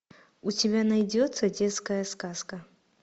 у тебя найдется детская сказка